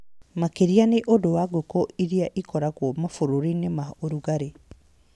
Makĩria nĩ ũndũ wa ngũkũ iria ikoragwo mabũrũri-inĩ ma ũrugarĩ.